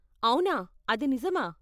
అవునా, అది నిజమా?